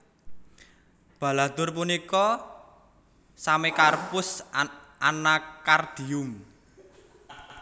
Baladhur punika Semecarpus Anacaardium